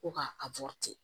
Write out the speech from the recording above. Ko ka a